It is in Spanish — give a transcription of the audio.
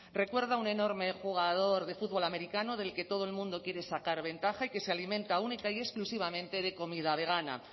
recuerdo un enorme jugador de fútbol americano del que todo el mundo quiere sacar ventaja y que se alimenta única y exclusivamente de comida vegana